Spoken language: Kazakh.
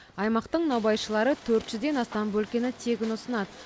аймақтың наубайшылары төрт жүзден астам бөлкені тегін ұсынады